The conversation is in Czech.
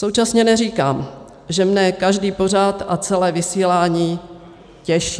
Současně neříkám, že mne každý pořad a celé vysílání těší.